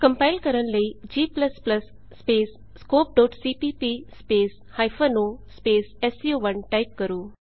compile ਕਰਨ ਲਈ g scopeਸੀਪੀਪੀ o ਐਸਸੀਓ1 ਟਾਈਪ ਕਰੋ